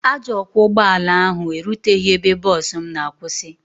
Ajọ ọkwọ ụgbọ ala ahụ eruteghị ebe bọs m na-akwụsị.